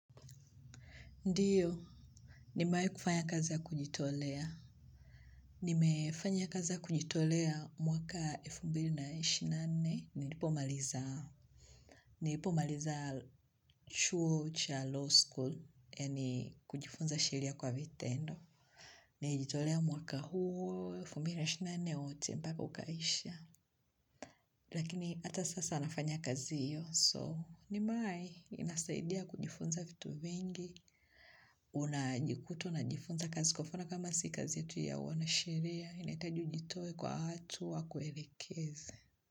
Ndiyo, nimewahi kufanya kazi ya kujitolea. Nimefanya kazi ya kujitolea mwaka 2024 nilipomaliza. Nipomaliza chuo cha law school, yaani kujifunza sheria kwa vitendo. Nilijitolea mwaka huu, 2024 wote, mpaka ukaisha. Lakini hata sasa nafanya kazi hiyo, so nimewahi inasaidia kujifunza vitu vingi. Unajikuta unajifunza kazi kwa mfano kama sisi kazi yetu ya uanasheria inahitaji ujitoe kwa watu wakuelekeze.